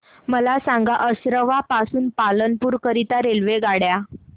मला सांगा असरवा पासून पालनपुर करीता रेल्वेगाड्या